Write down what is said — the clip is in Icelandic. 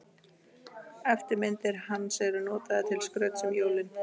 Eftirmyndir hans eru notaðar til skrauts um jólin.